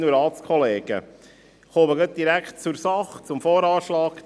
Ich komme direkt zur Sache, zum VA 2020.